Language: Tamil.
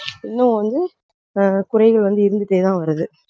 இன்னும் வந்து ஆஹ் குறைகள் வந்து இருந்துட்டேதான் வருது